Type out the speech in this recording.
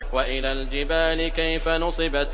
وَإِلَى الْجِبَالِ كَيْفَ نُصِبَتْ